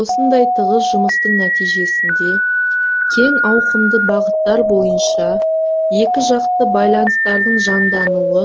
осындай тығыз жұмыстың нәтижесінде кең ауқымды бағыттар бойынша екіжақты байланыстардың жандануы